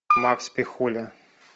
макс пихуля